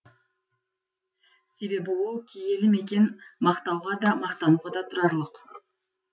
себебі ол киелі мекен мақтауға да мақтануға да тұрарлық